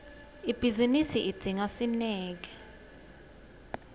ibhizinisi idzinga sineke